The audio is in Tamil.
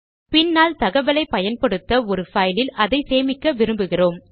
பின்னால் தகவலை பயன்படுத்த ஒரு பைலில் அதை சேமிக்க விரும்புகிறோம்